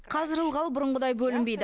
қазір ылғал бұрынғыдай бөлінбейді